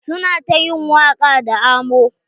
Su na ta yin waƙa da amo.